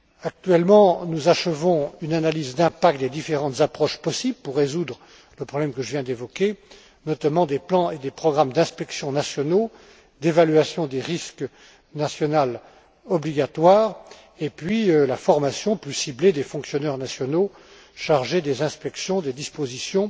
Actuellement, nous achevons une analyse d'impact des différentes approches possibles pour résoudre le problème que je viens d'évoquer, notamment des plans et des programmes d'inspection nationaux, d'évaluation des risques nationale obligatoire, ainsi que de la formation plus ciblée des fonctionnaires nationaux chargés des inspections des dispositions